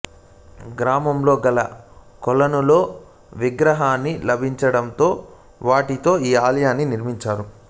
గ్రామంలో గల కొలనులో విగ్రహాలు లభించడంతో వాటితో ఈ ఆలయాన్ని నిర్మించారు